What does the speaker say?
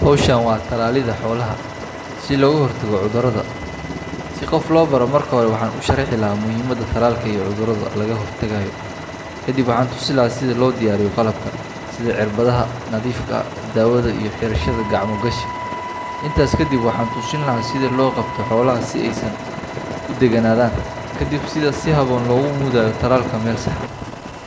Hawshan waa tallaalidda xoolaha si looga hortago cudurrada. Si qof loo baro, marka hore waxaan u sharxi lahaa muhiimadda tallaalka iyo cudurrada laga hortagayo. Kadib waxaan tusi lahaa sida loo diyaariyo qalabka: sida cirbadaha nadiifka ah, daawada iyo xirashada gacmo gashi. Intaas kadib waxaan tusin lahaa sida loo qabto xoolaha si ay u degganaadaan, kadibna sida si habboon loogu mudayo tallaalka meel sax ah,